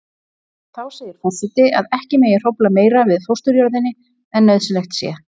Þá segir forseti að ekki megi hrófla meira við fósturjörðinni en nauðsynlegt sé.